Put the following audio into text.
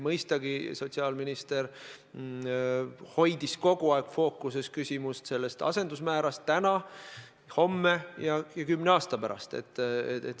Mõistagi hoidis sotsiaalminister kogu aeg fookuses asendusmäära täna, homme ja kümne aasta pärast.